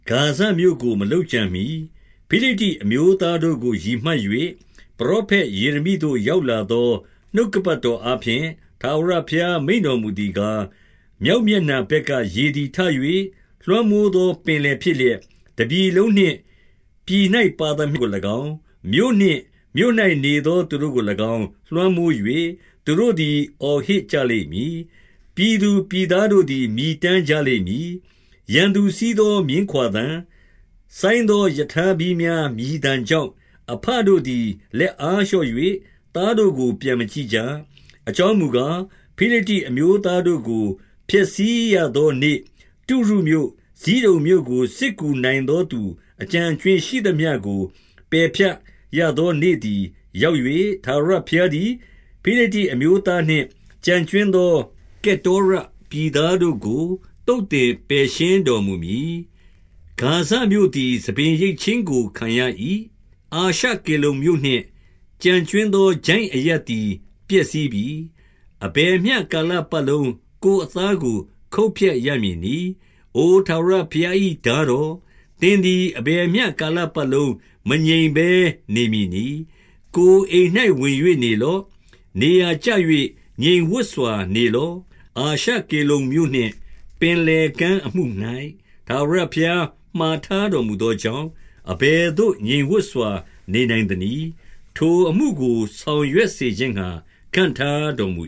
ဂါဇမြို့ကို မလုပ်ကြံမှီ၊ ဖိလိတ္တိအမျိုးသားတို့ကို ရည်မှတ်၍၊ ပရောဖက် ယေရမိသို့ရောက်လာသော နှုတ်ကပတ်တော်အားဖြင့်၊ 2 ထာဝရဘုရားမိန့်တော်မူသည်ကား၊ မြောက် မျက်နှာဘက်က ရေသည်ထ၍ လွှမ်းမိုးသောပင်လယ် ဖြစ်လျက်၊ တပြည်လုံးနှင့်၊ ပြည်၌ ပါသမျှကို၎င်း၊ မြို့နှင့် မြို့၌နေသော သူတို့ကို၎င်းလွှမ်းမိုး၍၊ သူတို့သည် အော်ဟစ် ကြလိမ့်မည်။ ပြည်သူပြည်သားတို့သည် မြည်တမ်းကြ လိမ့်မည်။ 3 ရန်သူစီးသော မြင်းခွါသံ၊ စိုင်းသောရထား ဘီးများ မြည်သံကြောင့်၊ အဘတို့သည် လက်အားလျော့၍ သားတို့ကိုပြန်မကြည့်ကြ။ 4 အကြောင်းမူကား၊ ဖိလိတ္တိအမျိုးသားတို့ကို ဖျက်ဆီးရသောနေ့၊ တုရုမြို့၊ ဇိဒုန်မြို့ကို စစ်ကူနိုင်သောသူ အကျန်အကြွင်းရှိသမျှကို ပယ်ဖြတ်ရသောနေ့သည် ရောက်၍၊ ထာဝရဘုရားသည် ဖိလိတ္တိအမျိုးသားနှင့် ကျန် ကြွင်းသော ကတ္တောရပြည်သားတို့ကို သုတ်သင်ပယ်ရှင်း တော်မူမည်။ 5 ဂါဇမြို့သည်ဆံပင်ရိတ်ခြင်းကို ခံရ၏။ အာရှ ကေလုန်မြို့နှင့် ကျန်ကြွင်းသောချိုင့်အရပ်သည်ပျက်စီးပြီ။ အဘယ်မျှကာလပတ်လုံး ကိုယ်အသားကို ခုတ်ဖြတ်ရမည် နည်း။ 6 အိုထာဝရဘုရား၏ထားတော်၊ သင်သည် အဘယ်မျှကာလပတ်လုံး မငြိမ်ဘဲနေမည်နည်း။ ကိုယ် အိမ်၌ဝင်၍နေလော့။ နေရာကျ၍ ငြိမ်ဝပ်စွာနေလော့။ 7 အာရှကေလုန်မြို့နှင့် ပင်လယ်ကမ်းအမှု၌ ထာဝရဘုရား မှာထားတော်မူသောကြောင့်၊ အဘယ် သို့ ငြိမ်ဝပ်စွာနေနိုင်သနည်း။ ထိုအမှုကို ဆောင်ရွက်စေခြင်း ငှါ ခန့်ထားတော်မူ